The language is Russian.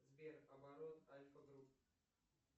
сбер оборот альфа групп